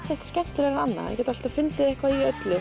skemmtilegra en annað maður getur alltaf fundið eitthvað í öllu